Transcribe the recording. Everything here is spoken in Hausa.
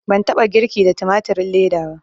Ban taɓa girki da tumatirin leda ba